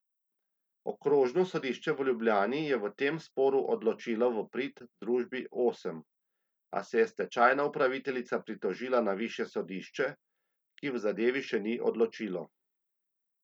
Okrožno sodišče v Ljubljani je v tem sporu odločilo v prid družbi Osem, a se je stečajna upraviteljica pritožila na višje sodišče, ki v zadevi še ni odločilo.